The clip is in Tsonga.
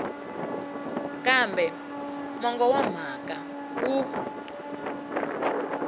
kambe mongo wa mhaka wu